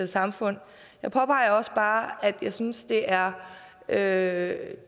samfund jeg påpeger også bare at jeg synes det er er